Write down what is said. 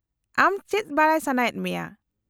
-ᱟᱢ ᱪᱮᱫ ᱵᱟᱰᱟᱭ ᱥᱟᱱᱟᱭᱮᱫ ᱢᱮᱭᱟ ?